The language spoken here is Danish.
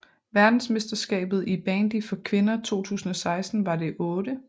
Verdensmesterskabet i bandy for kvinder 2016 var det 8